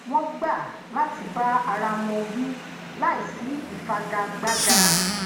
wón gbà lati bá ara àwọn wí láìsi ifigagbaga